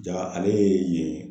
Ja ale ye yen